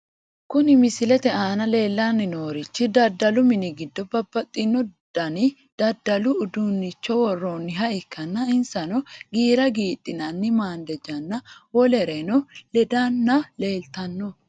Kuni misilete aana leellanni noorichi daddalu mini giddo babaxino dani daddalu uduunnicho worroonniha ikkanna , insano giira giidhinanni maandejanna wolereno lendanna leeltanno.